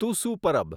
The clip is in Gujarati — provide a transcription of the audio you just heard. તુસુ પરબ